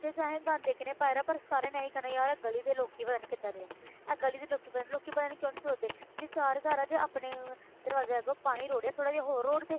ਤੇ ਚਾਹੇ ਗੰਦ ਇੱਕ ਨੇ ਪਾਇਆ ਪਰ ਸਾਰਿਆਂ ਨੇ ਇਹੀ ਕਹਿਣਾ ਯਾਰ ਇਹ ਗਲੀ ਦੇ ਲੋਕੀ ਪਤਾ ਨੀ ਕਿੱਦਾਂ ਦੇ ਆ ਇਹ ਗਲੀ ਦੇ ਲੋਕੀ ਪਤਾ ਨੀ ਲੋਕੀ ਪਤਾ ਨੀ ਕਿਉਂ ਨੀ ਸੋਚਦੇ ਜੇ ਚਾਰ ਘਰ ਹੈ ਜੇ ਆਪਣੇ ਦਰਵਾਜ਼ੇ ਅੱਗੋਂ ਪਾਣੀ ਰੋੜੇ ਥੋੜ੍ਹਾ ਜਿਹਾ ਹੋਰ ਰੋੜ ਦਏ।